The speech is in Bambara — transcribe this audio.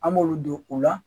An b'olu don u la